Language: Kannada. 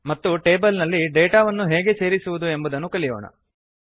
ಮತ್ತು ಟೇಬಲ್ ನಲ್ಲಿ ಡೇಟಾ ಅನ್ನು ಹೇಗೆ ಸೇರಿಸುವುದು ಎಂಬುದನ್ನು ಕಲಿಯೋಣ